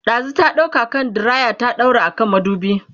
ɗazun ta ɗauko hand diraya ta daura a kan madubi